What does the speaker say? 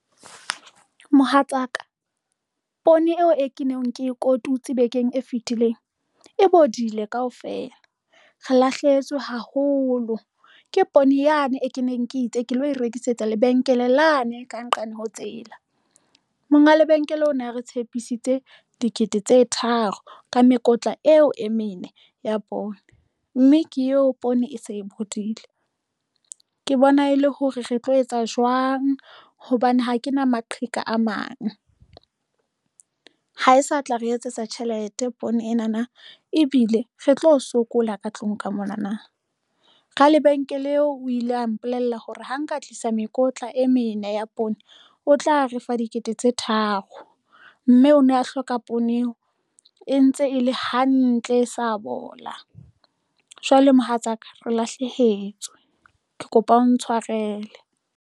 Mohatsaka poone eo e keneng ke kotutsi bekeng e fitileng e bodile kaofela re lahlehetswe haholo ke poone yane e keneng ke itse ke lo rekisetsa lebenkele lane e ka nqane ho tsela monga lebenkele ona re tshepisitse dikete tse tharo ka mekotla eo e mene ya poone, mme ke eo poone e se e bodile. Ke bona e le hore re tlo etsa jwang hobane ha ke na maqheka a mang. Ha e sa tla re etsetsa tjhelete poone ena na ebile re tlo sokola ka tlung ka mona na. Ra lebenkele eo o ile a mpolella hore ho nka tlisa mekotla e mene ya poone, o tla a re fa dikete tse tharo mme o ne a hloka poone eo e ntse e le hantle, e sa bola, jwale mohatsaka re lahlehetswe ke kopa o ntshwarele.